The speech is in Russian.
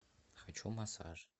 хочу массаж